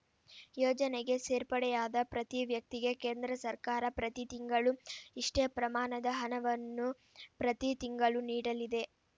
ಯೋಜನೆಗೆ ಸೆರ್ಪಡೆಯಾದ ಪ್ರತಿ ವ್ಯಕ್ತಿಗೆ ಕೇಂದ್ರ ಸರ್ಕಾರ ಪ್ರತಿ ತಿಂಗಳು ಇಷ್ಟೇ ಪ್ರಮಾಣದ ಹಣವನ್ನು ಪ್ರತಿ ತಿಂಗಳು ನೀಡಲಿದೆ